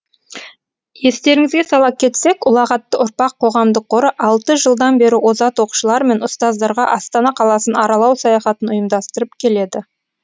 естеріңізге сала кетсек ұлағатты ұрпақ қоғамдық қоры алты жылдан бері озат оқушылар мен ұстаздарға астана қаласын аралау саяхатын ұйымдастырып келеді